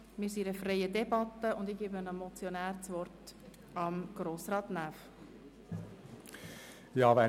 Wir führen eine freie Debatte, und ich gebe dem Motionär, Grossrat Näf, das Wort.